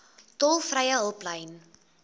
tolvrye hulplyn